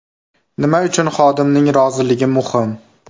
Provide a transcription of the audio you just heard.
Nima uchun xodimning roziligi muhim?